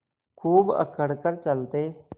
खूब अकड़ कर चलते